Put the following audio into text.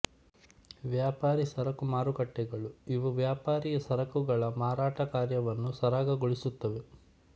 ವ್ಯಾಪಾರಿ ಸರಕು ಮಾರುಕಟ್ಟೆಗಳು ಇವು ವ್ಯಾಪಾರಿ ಸರಕುಗಳ ಮಾರಾಟಕಾರ್ಯವನ್ನು ಸರಾಗಗೊಳಿಸುತ್ತವೆ